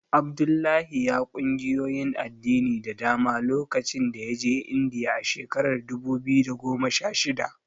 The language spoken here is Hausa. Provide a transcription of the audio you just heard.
Abdullahi ya ƙungiyoyin addini da dama lokacin da ya je Indiya a shekarar dubu biyu da goma sha shida.